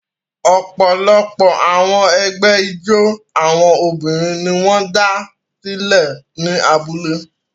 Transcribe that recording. Ọ̀pọ̀lọpọ̀ àwọn ẹgbẹ́ ijó àwọn obìnrin ni wọ́n dá sílẹ̀ ní abúlé.